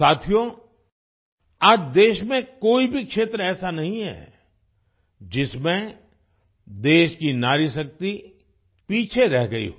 साथियों आज देश में कोई भी क्षेत्र ऐसा नहीं है जिसमें देश की नारीशक्ति पीछे रह गई हो